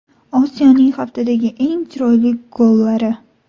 Osiyoning haftadagi eng chiroyli gollari.